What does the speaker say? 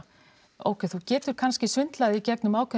ókei þú getur kannski svindlað í gegnum ákveðin